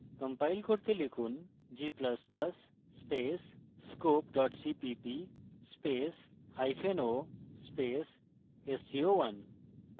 compile করতে লিখুন g ++ scope cppo sco1